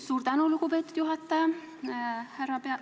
Suur tänu, lugupeetud juhataja!